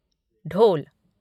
ढोल